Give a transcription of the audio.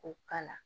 K'o k'a la